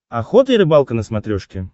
охота и рыбалка на смотрешке